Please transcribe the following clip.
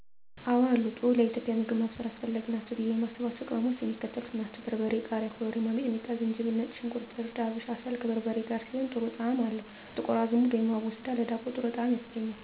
የኢትዮጵያ ምግብ ልዩ የሚያደርገው ቅመማ ቅመሞችን የመቀላቀል ስራ ስለምናደርግ ነው። *አወ አሉ፦ ጥሩ ለኢትዮጵያዊ ምግብ ማብሰል አስፈላጊ ናቸው ብዬ የማስባቸው ቅመሞች የሚከተሉት ናቸው: * በርበሬ *ቃሪያ * ኮረሪማ * ሚጥሚጣ * ዝንጅብል * ነጭ ሽንኩርት * እርድ * አብሽ *እንስላል፦ ከበርበሬ ጋር ሲሆን ጥሩ ጣዕም አለው *ጥቁር አዝሙድ(አቦስዳ)ለዳቦ ጥሩ ጣዕም ያስገኛል።